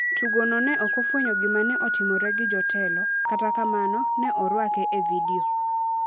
Tugo no ne ok ofwenyo gima ne otimore gi jotelo, kata kamano, ne orwake e vidio.